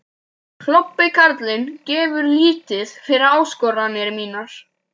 Klobbi karlinn gefur lítið fyrir áskoranir mínar.